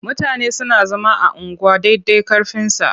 Mutane suna zama a unguwa dai dai ƙarfinsa.